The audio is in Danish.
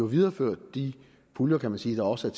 videreført de puljer kan man sige der også